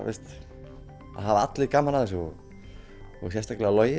allir gaman af þessu og og sérstaklega Logi